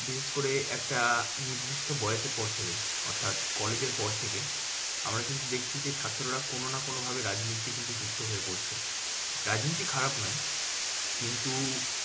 বিশেষ করে একটা নির্দিষ্ট বয়সের পর থেকে অর্থাৎ college এর পর থেকে। আমার কিন্তু দেখছি যে ছাত্ররা কোনো না কোনো ভাবে রাজনীতি নিয়ে কিন্তু যুক্ত হয়ে পড়ছে। রাজনীতি খারাপ নয়। কিন্তু